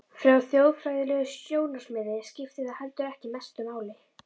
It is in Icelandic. Frá þjóðfræðilegu sjónarmiði skiptir það heldur ekki mestu máli.